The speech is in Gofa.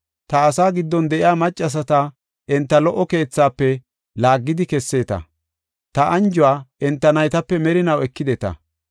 Ta asaa giddon de7iya maccasata enta lo77o keethafe laaggidi kesseeta; ta anjuwa enta naytape merinaw ekideta.